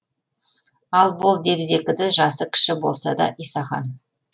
ал бол деп зекіді жасы кіші болса да исахан